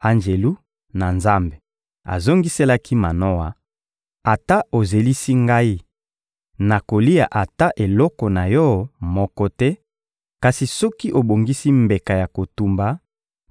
Anjelu na Nzambe azongiselaki Manoa: — Ata ozelisi ngai, nakolia ata eloko na yo moko te; kasi soki obongisi mbeka ya kotumba,